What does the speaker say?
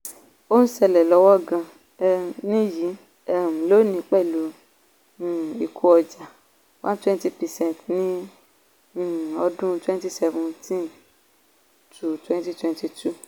ó ṣẹlẹ̀ lọ́wọ́ gan-an nìyí um lónìí pẹ̀lú um ìkó ọjà one hundred twenty percent ní um ọdún twenty seventeen - twenty twenty two.